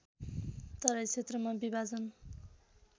तराई क्षेत्रमा विभाजन